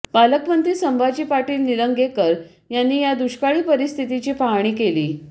पालकमंत्री संभाजी पाटील निलंगेकर यांनी या दुष्काळी परिस्थितीची पाहणी केली